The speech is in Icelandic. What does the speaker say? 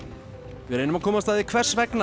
við reynum að komast að því hvers vegna